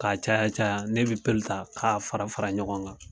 Ka caya caya, ne be ta ka fara fara ɲɔgɔn kan.